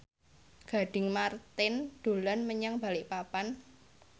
Gading Marten dolan menyang Balikpapan